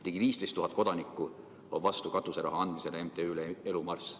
Ligi 15 000 kodanikku on vastu katuseraha andmisele MTÜ‑le Elu Marss.